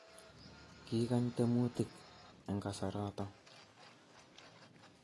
Kikany temutik eng kasaroto